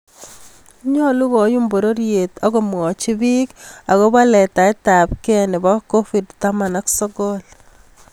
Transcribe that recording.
Nyolu koyum bororyeet ak komwochi pik akopo litaetabke nepo Covid taman ak sogol